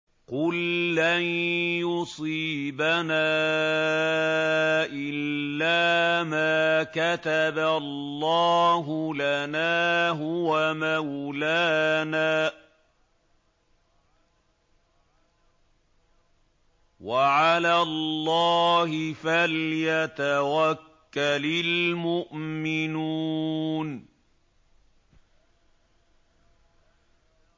قُل لَّن يُصِيبَنَا إِلَّا مَا كَتَبَ اللَّهُ لَنَا هُوَ مَوْلَانَا ۚ وَعَلَى اللَّهِ فَلْيَتَوَكَّلِ الْمُؤْمِنُونَ